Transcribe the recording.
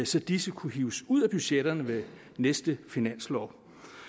så disse kunne hives ud af budgetterne ved næste finanslov